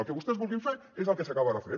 el que vostès vulguin fer és el que s’acabarà fent